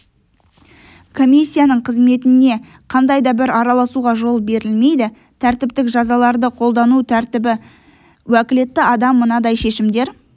комиссияның қызметіне қандай да бір араласуға жол берілмейді тәртіптік жазаларды қолдану тәртібі уәкілетті адам мынадай шешімдер